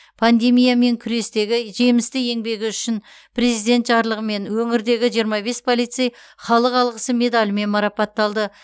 пандемиямен күрестегі жемісті еңбегі үшін президент жарлығымен өңірдегі жиырма бес полицей халық алғысы медалімен марапатталды